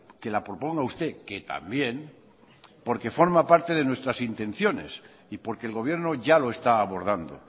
que la proponga usted que también porque forma parte de nuestras intenciones y porque el gobierno ya lo está abordando